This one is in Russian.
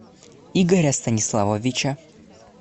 игоря станиславовича